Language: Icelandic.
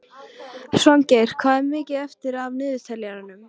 Svangeir, hvað er mikið eftir af niðurteljaranum?